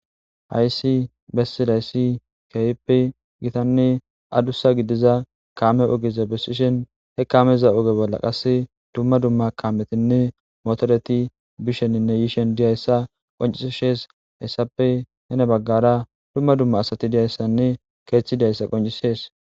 Hayssi bessidayssi keehppe gitanne adussa gidiza kaame ogeza besishen he kameza oge bolla qass dumma dumma kametinne motoreti bisheninne yiishen diyayssa qoncishees haessappe hene baggara dumma dumma asati diyayssanne keeththidayssa qoncisees.